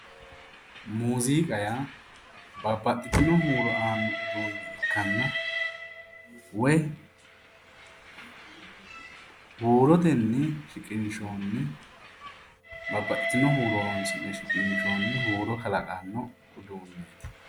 musiqa yaababbaxitino uduunne aanno uduunne ikkanna woy huurotenni shiqinshoonni babbaxitino huuro horonsi'ne shiqinshoonni huuro kalaqanno uduunnichoti.